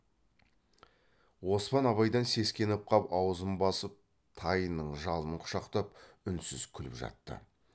оспан абайдан сескеніп қап аузын басып тайының жалын құшақтап үнсіз күліп жатты